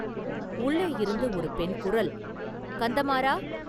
உள்ளேயிருந்து, ஒரு பெண் குரல், “கந்தமாறா!